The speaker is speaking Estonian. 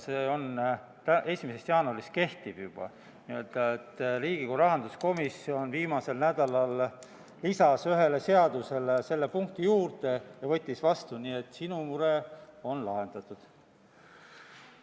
Riigikogu rahanduskomisjon lisas viimasel nädalal ühele seadusele selle punkti juurde ja seadus võeti vastu, nii et 1. jaanuarist see juba kehtib ja sinu mure on lahendatud.